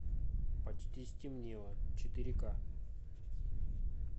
почти стемнело четыре ка